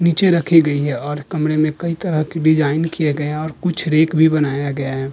नीचे रखी गई हैं और कमरे में कई तरह की डिजाइन किए गए हैं और कुछ रैक भी बनाया गया है।